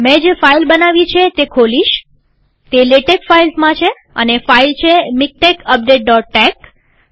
મેં જે ફાઈલ બનાવી છે તે ખોલીશતે લેટેક ફાઈલ્સમાં છેઅને ફાઈલ છે મિકટેક્સ updateટેક્સ